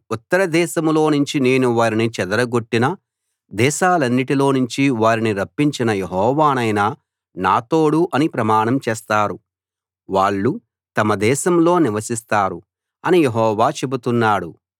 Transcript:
ఉత్తర దేశంలో నుంచి నేను వారిని చెదరగొట్టిన దేశాలన్నిటిలో నుంచి వారిని రప్పించిన యెహోవానైన నా తోడు అని ప్రమాణం చేస్తారు వాళ్ళు తమ దేశంలో నివసిస్తారు అని యెహోవా చెబుతున్నాడు